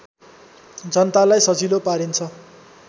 जनतालाई सजिलो पारिन्छ